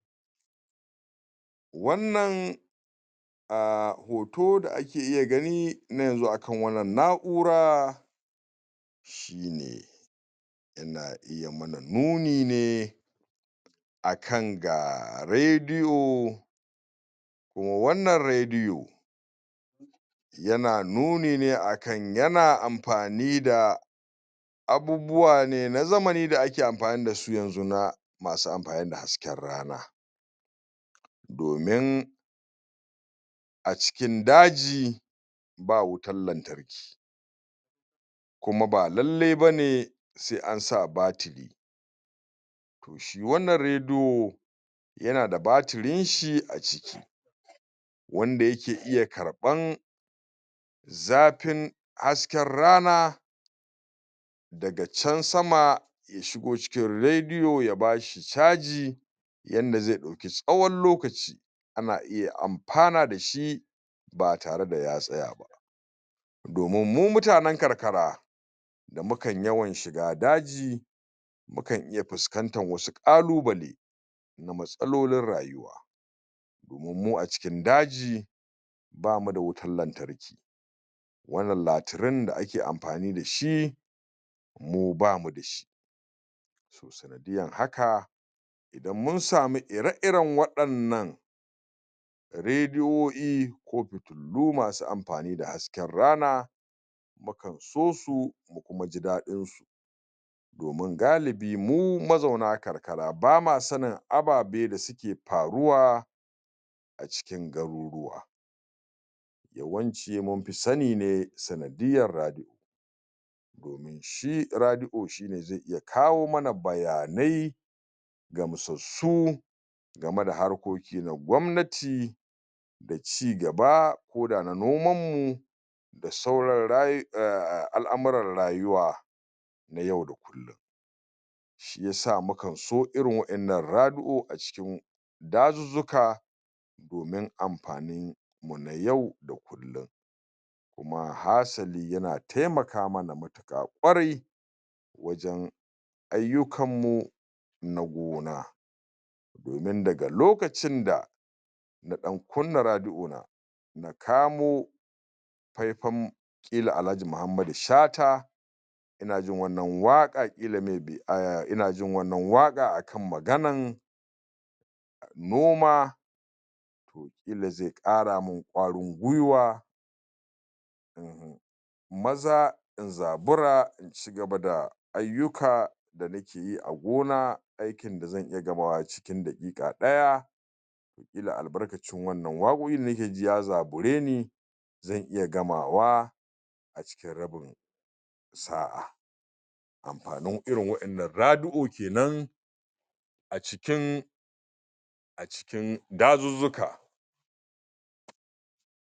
wannan a hoto da ake da ake iya gani na yanxu a wannan na'ura shine yana iya mana nuni ne akan ga radio ko wannan radio yana nuni ne akan akan yana amfani da abubuwa ne na zamani da ake amfani dasu yanxu na masu amfani da hasken rana domin a cikin daji ba wutan lantarki kuma ba lallai bane sai ansa battery wannan radio yan da battery dinshi a ciki wanda ke iya ƙarban zafin hasken rana daga